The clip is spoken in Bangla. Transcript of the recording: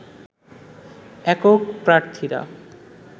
একক প্রার্থীরা